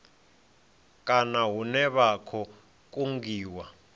kana hune vha khou kungiwa